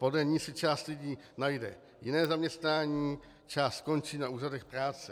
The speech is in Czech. Podle ní si část lidí najde jiné zaměstnání, část skončí na úřadech práce.